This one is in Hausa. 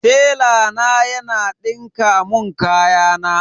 Tela na yana dinka mun kayana.